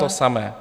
... to samé.